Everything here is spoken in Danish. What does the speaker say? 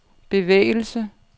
bevægelse